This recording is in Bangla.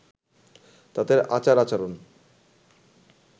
তাঁদের আচার-আচরণ